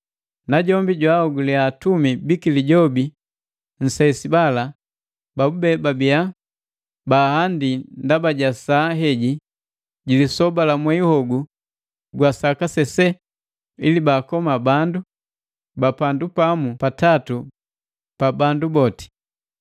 Najombi jwaaogulia atumi biki Lijobi nsesi bala babube babia baahandi ndaba ja saa heji ji lisoba la mwei hogu gwa saka sese ili baakoma bandu ba pandu pamu pa tatu pa bandu boti.